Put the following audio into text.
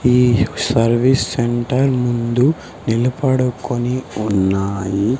ఈ service centre ముందు నిలపడుకొని ఉన్నాయి.